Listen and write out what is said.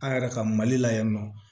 An yɛrɛ ka mali la yan nɔ